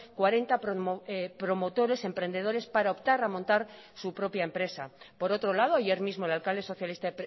cuarenta promotores emprendedores para optar a montar su propia empresa por otro lado ayer mismo el alcalde socialista